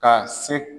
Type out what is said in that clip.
Ka se